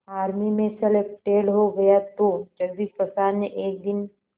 army में selected हो गया तो जगदीश प्रसाद ने एक दिन